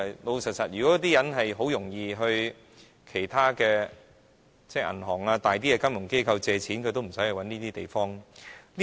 老實說，如果他們很容易向銀行或大型金融機構借貸的話，也無須找這些中介。